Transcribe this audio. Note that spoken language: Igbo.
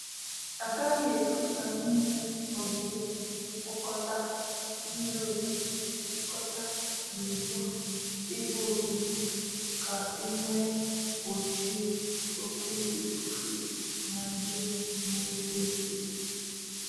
A gaghị ekwe ka mmiri ozuzo kpokọta mmiri ozuzo kpokọta gburugburu ebe obibi ka e wee gbochie oke ifufe na nje n'efe efe.